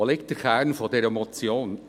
Wo liegt der Kern dieser Motion?